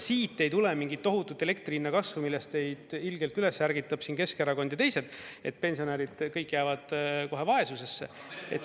Siit ei tule mingit tohutut elektri hinna kasvu, millest teid ilgelt üles ärgitab Keskerakond ja teised, et pensionärid kõik jäävad kohe vaesusesse.